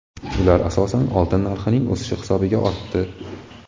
Ular, asosan, oltin narxining o‘sishi hisobiga ortdi.